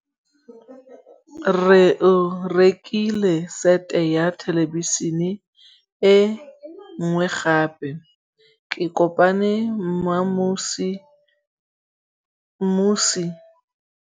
Rre o rekile sete ya thêlêbišênê e nngwe gape. Ke kopane mmuisi w dikgang tsa radio tsa Setswana.